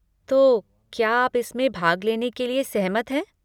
तो, क्या आप इसमें भाग लेने के लिए सहमत हैं?